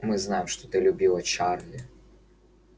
мы знаем что ты любила чарли